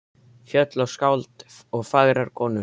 Fjöll og skáld og fagrar konur.